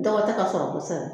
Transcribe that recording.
Dɔgɔ tɛ ka sɔrɔ kosɛbɛ